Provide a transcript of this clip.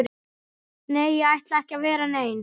Nei, ég ætla ekki að vera nein